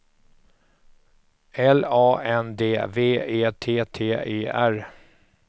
L A N D V E T T E R